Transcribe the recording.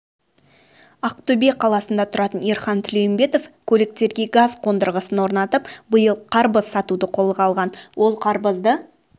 ақтөбе қаласында тұратын ерхан тілеумбетов көліктерге газ қондырғысын орнатып биыл қарбыз сатуды қолға алған ол қарбызды